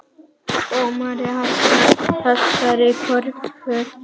Dómari hafnaði þessari kröfu